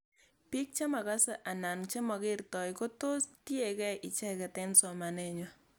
Pik chemakase anan chemakertoi ko tos tiekei ichet eng'somanet ng'wai